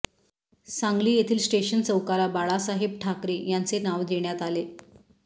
सांगली येथील स्टेशन चौकाला बाळासाहेब ठाकरे यांचे नाव देण्यात आले